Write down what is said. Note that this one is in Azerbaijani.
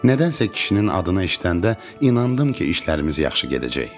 Nədənsə kişinin adını eşidəndə inandım ki, işlərimiz yaxşı gedəcək.